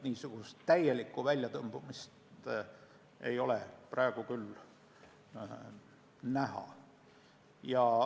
Seega täielikku väljatõmbumist küll ei ole praegu näha.